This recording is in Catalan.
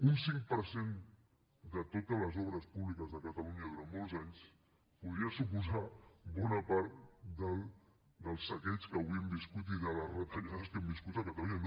un cinc per cent de totes les obres públiques de catalunya durant molts anys podria suposar bona part del saqueig que avui hem viscut i de les retallades que hem viscut a catalunya